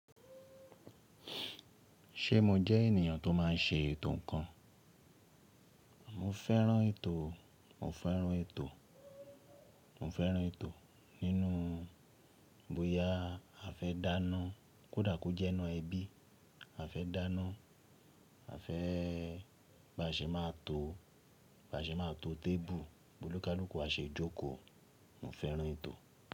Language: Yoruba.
Ṣé mo jẹ́ ènìyàn tó máa ń ṣe ètò kan? Mo fẹ́ràn ètò, mo fẹ́ràn ètò, mo fẹ́ràn ètò. Nínú bóyá a fẹ́ dáná kódà kó jẹ́ ẹnu ẹbí, a fẹ́ dáná, a fẹ́ bá ṣe máa tó, bá ṣe máa tó tébù, boni kàlúkù a ṣe jókòó. Mo fẹ́ràn ètò.